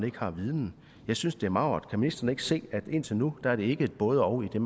ikke har viden jeg synes det er magert kan ministeren ikke se at indtil nu er det ikke et både og i